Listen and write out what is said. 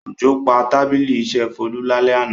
Òjò pa tábìlì iṣẹ́ Folú lálẹ́ àná.